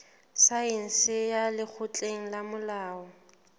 saense ya lekgotleng la molao